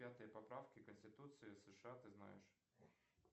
пятые поправки конституции сша ты знаешь